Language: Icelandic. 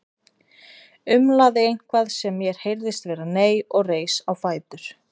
Umlaði eitthvað sem mér heyrðist vera nei og reis á fætur.